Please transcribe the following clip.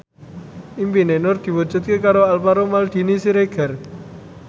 impine Nur diwujudke karo Alvaro Maldini Siregar